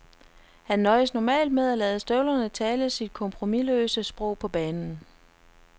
Han nøjes normalt med at lade støvlerne tale sit kompromisløse sprog på banen.